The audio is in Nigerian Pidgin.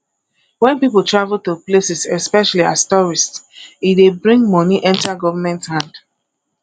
when pipo travel to places especially as tourist e dey bring money enter government hand